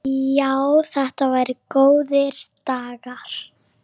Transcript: Já, þetta voru góðir dagar.